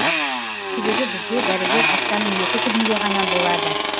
себебі бізге дәрігер аптаның екі күнінде ғана болады